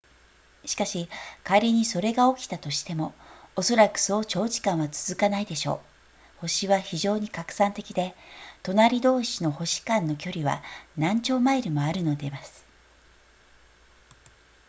しかし仮にそれが起きたとしてもおそらくそう長時間は続かないでしょう星は非常に拡散的で隣同士の星間の距離は何兆マイルもあるのでます